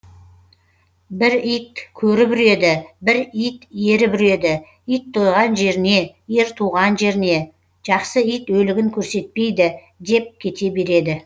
бір ит көріп үреді бір ит еріп үреді ит тойған жеріне ер туған жеріне жақсы ит өлігін көрсетпейді деп кете береді